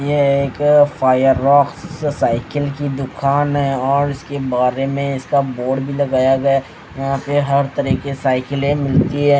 यह एक fire rocks cycle की दुकान है और उसके बारे में इसका बोर्ड भी लगाया गया यहां पे हर तरह की साइकिलें मिलती है।